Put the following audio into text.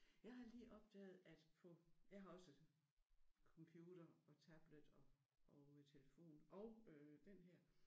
Jeg har lige opdaget at på jeg har også computer og tablet og og telefon og øh den her